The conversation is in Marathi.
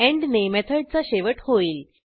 एंड ने मेथडचा शेवट होईल